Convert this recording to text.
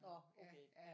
Nå okay ja